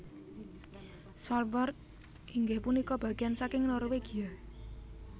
Svalbard inggih punika bageyan saking Norwegia